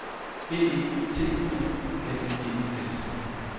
B E T O N E S